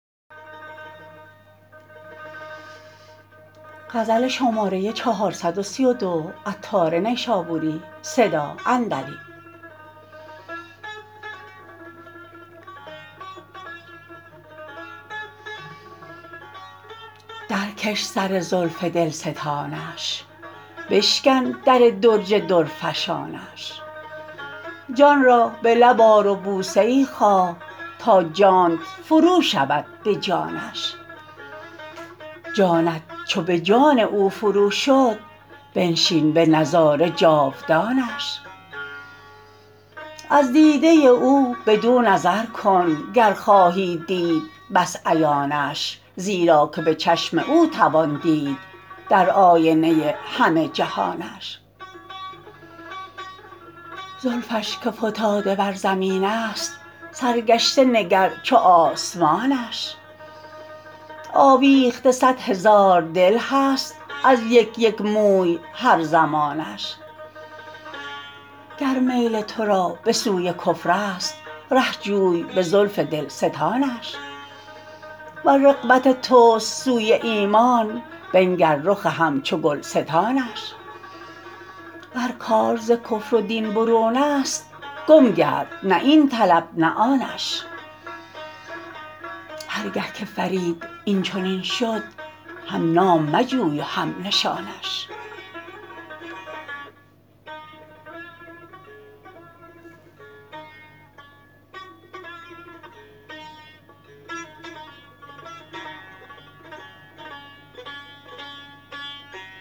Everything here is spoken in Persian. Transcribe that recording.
درکش سر زلف دلستانش بشکن در درج درفشانش جان را به لب آر و بوسه ای خواه تا جانت فرو شود به جانش جانت چو به جان او فروشد بنشین به نظاره جاودانش از دیده او بدو نظر کن گر خواهی دید بس عیانش زیرا که به چشم او توان دید در آینه همه جهانش زلفش که فتاده بر زمین است سرگشته نگر چو آسمانش آویخته صد هزار دل هست از یک یک موی هر زمانش گر میل تو را به سوی کفر است ره جوی به زلف دلستانش ور رغبت توست سوی ایمان بنگر رخ همچو گلستانش ور کار ز کفر و دین برون است گم گرد نه این طلب نه آنش هرگه که فرید این چنین شد هم نام مجوی و هم نشانش